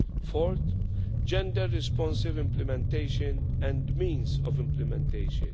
fourth, gender-responsive implementation and means of implementation.